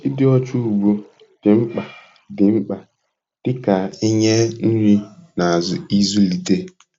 Ịdị ọcha ugbo dị mkpa dị mkpa dị ka inye nri na ịzụlite.